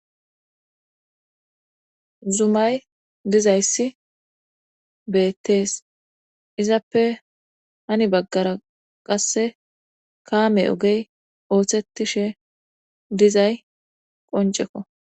zumay dizayssi beettees izappe hani baggara qasse kaame ogey oosettishe dizay qoncekko